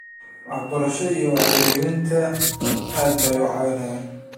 Waxbarshada iyo Wacyigelinta aad bay u caawiyaan.